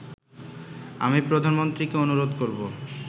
আমি প্রধানমন্ত্রীকে অনুরোধ করবো